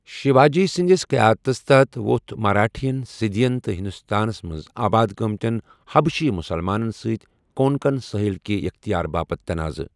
شِوا جی سٕندِس قیادتس تل ووٚتھ مراٹھین سِدھِین تہٕ ہِندوستانس منز آباد گٲمتین حبشی مُسلمانن سۭتۍ کونکن سٲحِل کہِ اختیار باپتھ تناضہٕ ۔